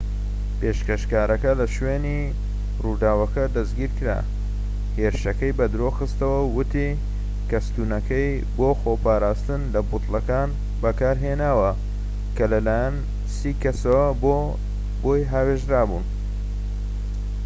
پێشکەشکارەکە کە لە شوێنی ڕوداوەکە دەستگیر کرا هێرشەکەی بەدرۆخستەوە و ووتی کە ستوونەکەی بۆ خۆپاراستن لە بوتڵەکان بەکارهێناوە کە لە لایەن سی کەسەوە بۆ هاوێژراون